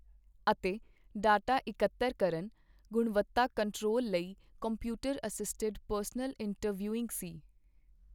ਅਤੇ ਡਾਟਾ ਇਕੱਤਰ ਕਰਨ, ਗੁਣਵਤਾ ਕੰਟਰੋਲ ਲਈ ਕੰਪਿਊਟਰ ਅਸਿਸਟਿਡ ਪਰਸਨਲ ਇੰਟਰਵਿਊਇੰਗ ਸੀ।